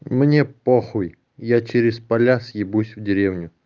мне похуй я через поля съебусь в деревню